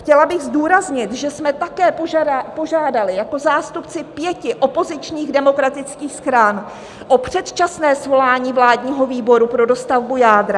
Chtěla bych zdůraznit, že jsme také požádali jako zástupci pěti opozičních demokratických stran o předčasné svolání vládního výboru pro dostavbu jádra.